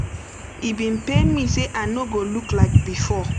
e bin pain me say i no go look like bifor